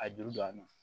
A juru don a nɔ na